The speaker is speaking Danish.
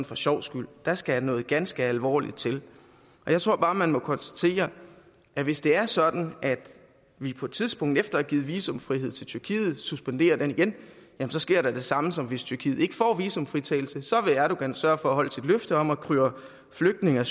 for sjovs skyld der skal noget ganske alvorligt til jeg tror bare man må konstatere at hvis det er sådan at vi på et tidspunkt efter at have givet visumfrihed til tyrkiet suspenderer den igen så sker det samme som hvis tyrkiet ikke får visumfritagelse så vil erdogan sørge for at holde sit løfte om at køre flygtninge og